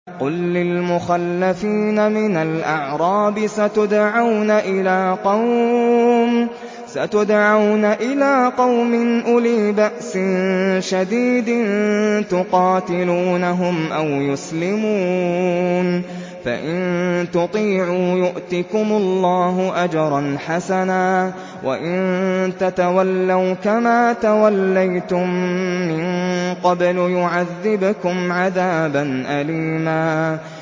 قُل لِّلْمُخَلَّفِينَ مِنَ الْأَعْرَابِ سَتُدْعَوْنَ إِلَىٰ قَوْمٍ أُولِي بَأْسٍ شَدِيدٍ تُقَاتِلُونَهُمْ أَوْ يُسْلِمُونَ ۖ فَإِن تُطِيعُوا يُؤْتِكُمُ اللَّهُ أَجْرًا حَسَنًا ۖ وَإِن تَتَوَلَّوْا كَمَا تَوَلَّيْتُم مِّن قَبْلُ يُعَذِّبْكُمْ عَذَابًا أَلِيمًا